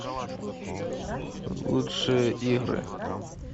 лучшие игры